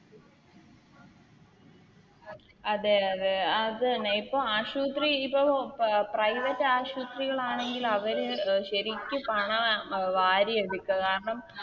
അതെ അതെ അത് തന്നെ ഇപ്പൊ ആശുത്രി ഇപ്പൊ Private ആശുത്രികളാണെങ്കില് അവര് അഹ് ശെരിക്ക് പണം വാരിയെടുക്കും കാരണം